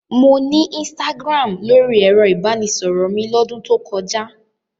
Mo ní Instagram lórí ẹ̀rọ-ìbánisọ̀rọ̀ mi lọ́dún tó kọjá.